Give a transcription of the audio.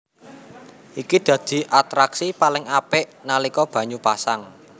Iki dadi atraksi paling apik nalika banyu pasang